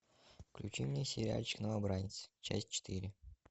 включи мне сериальчик новобранец часть четыре